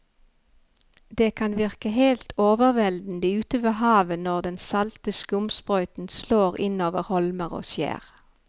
Det kan virke helt overveldende ute ved havet når den salte skumsprøyten slår innover holmer og skjær.